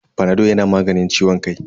Fanado yana maganin ciwon kai.